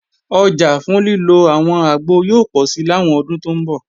Ọjà fún lílo àwọn àgbo yóò pọ̀si làwọn ọdún tó ń bọ̀